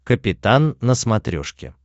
капитан на смотрешке